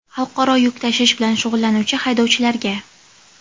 xalqaro yuk tashish bilan shug‘ullanuvchi haydovchilarga;.